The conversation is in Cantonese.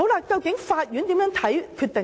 究竟法院如何看待這些決定呢？